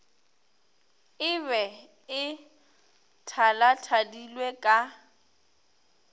e be e thalathadilwe ka